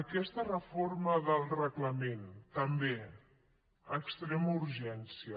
aquesta reforma del reglament també a extrema urgència